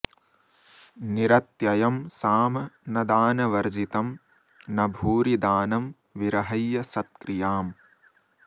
निरत्ययं साम न दानवर्जितं न भूरि दानं विरहय्य सत्क्रियाम्